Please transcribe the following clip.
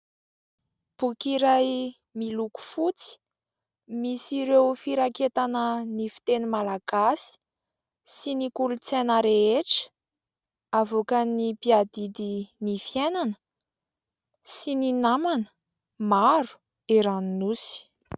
Boky iray miloko fotsy, misy ireo firaketana ny fiteny Malagasy sy ny kolotsaina rehetra avoakan' ny mpiadidy ny fiainana sy ny namana maro eran'ny nosy.